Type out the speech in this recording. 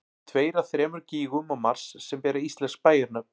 tveir af þremur gígum á mars sem bera íslensk bæjarnöfn